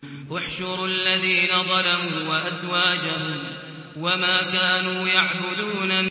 ۞ احْشُرُوا الَّذِينَ ظَلَمُوا وَأَزْوَاجَهُمْ وَمَا كَانُوا يَعْبُدُونَ